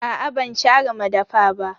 Aa ban share madafa ba.